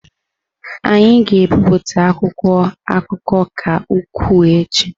Anyị ga-ebipụta akwụkwọ akụkọ ka ukwuu echi.